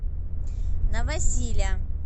новосиля